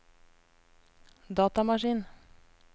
datamaskin